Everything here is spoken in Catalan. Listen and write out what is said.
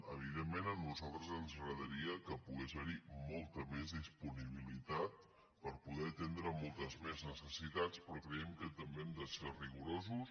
evident·ment a nosaltres ens agradaria que pogués haver·hi molta més disponibilitat per poder atendre moltes més necessitats però creiem que també hem de ser rigoro·sos